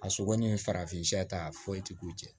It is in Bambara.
A sogo ni farafinya ta foyi ti k'u jɛ